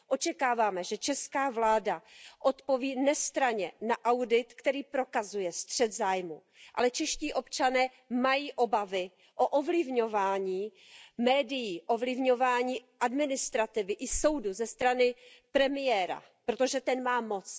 Očekáváme, že česká vláda odpoví nestranně na audit, který prokazuje střet zájmů, ale čeští občané mají obavy o ovlivňování médií, ovlivňování administrativy i soudů ze strany premiéra, protože ten má moc.